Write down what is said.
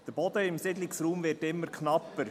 Der Boden im Siedlungsraum wird immer knapper.